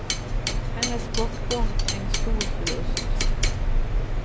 Hennes bortgång är en stor förlust.